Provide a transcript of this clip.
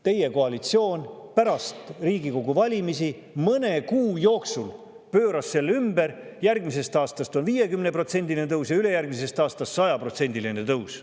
Teie koalitsioon pärast Riigikogu valimisi mõne kuu jooksul pööras selle ümber, järgmisest aastast on 50%-line tõus ja ülejärgmisest aastast 100%-line tõus.